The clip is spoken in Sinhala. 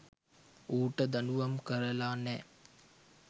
ඌට දඬුවම් කරලා නෑ.